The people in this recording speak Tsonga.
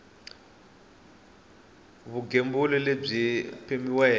ya vugembuli lebyi byi pimiweke